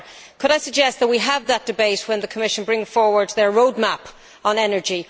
Could I suggest that we have that debate when the Commission brings forward its road map on energy?